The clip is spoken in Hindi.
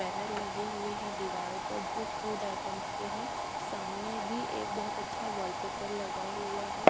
बैनर लगे हुए हैं दीवारों पर जो फूड आइटम्स के हैं सामने भी एक बहोत अच्छा वॉलपेपर लगा हुआ है।